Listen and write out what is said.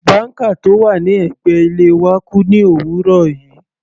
Banker tó wà ní ẹ̀gbẹ́ ilé wa kú ní òwúrọ̀ yìí.